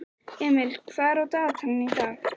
Emil, hvað er á dagatalinu í dag?